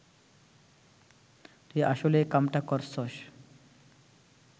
তুই আসলেই ‘কামটা’ করছস